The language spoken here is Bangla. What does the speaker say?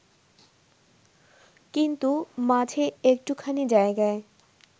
কিন্তু মাঝে একটুখানি জায়গায়